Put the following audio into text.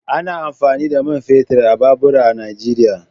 Ana amfani da man fetur a babura a Nijeriya.